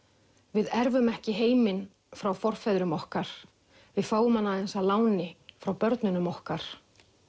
við erfum ekki heiminn frá forfeðrum okkar við fáum hann aðeins að láni frá börnunum okkar